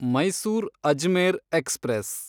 Mysore Ajmer express